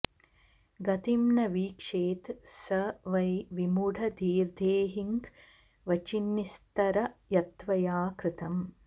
गतिं न वीक्षेत स वै विमूढधीर्देहिन्क्वचिन्निस्तर यत्त्वया कृतम्